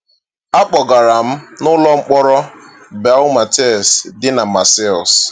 A kpọgara m n’ụlọ mkpọrọ Baumettes, dị na Marseilles.